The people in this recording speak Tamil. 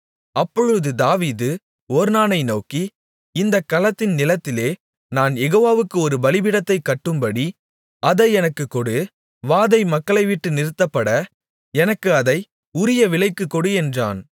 அப்பொழுது தாவீது ஒர்னானை நோக்கி இந்தக் களத்தின் நிலத்திலே நான் யெகோவாவுக்கு ஒரு பலிபீடத்தைக் கட்டும்படி அதை எனக்குக் கொடு வாதை மக்களைவிட்டு நிறுத்தப்பட எனக்கு அதை உரிய விலைக்குக் கொடு என்றான்